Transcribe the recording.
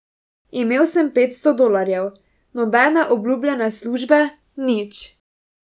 Imel sem petsto dolarjev, nobene obljubljene službe, nič.